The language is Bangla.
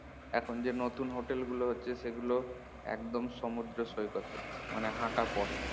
এখন যে নতুন হোটেল গুলো হচ্ছে সেগুলো একদম সমুদ্র সৈকতে মানে হাঁটা পথ